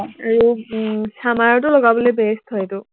আৰু summer টো লগাবলে best হয় সেইটো